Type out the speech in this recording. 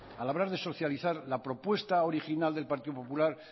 al hablar de socializar la propuesta original del partido popular